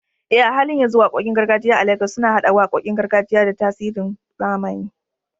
Eh, a halin yanzu waƙoƙin gargajiya a Legas suna haɗa waƙoƙin gargajiya da tasirin zamani